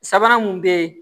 Sabanan mun be yen